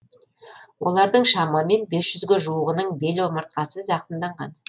олардың шамамен бес жүзге жуығының бел омыртқасы зақымданған